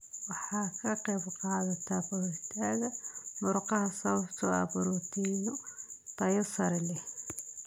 Waxay ka qaybqaadataa koritaanka murqaha sababtoo ah borotiinno tayo sare leh.